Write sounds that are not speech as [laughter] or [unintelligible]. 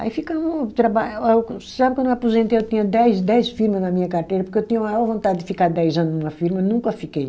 Aí ficamo traba. [unintelligible] Sabe quando eu aposentei, eu tinha dez dez firma na minha carteira, porque eu tinha a maior vontade de ficar dez ano numa firma, nunca fiquei.